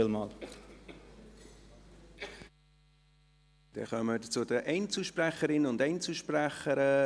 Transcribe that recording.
Dann kommen wir zu den Einzelsprecherinnen und Einzelsprechern.